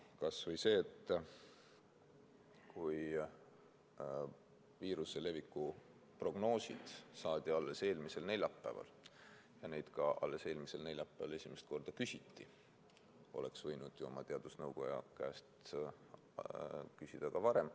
Kas või see, et kui viiruse leviku prognoosid saadi alles eelmisel neljapäeval ja neid ka alles eelmisel neljapäeval esimest korda küsiti, siis oleks võinud ju oma teadusnõukoja käest küsida ka varem.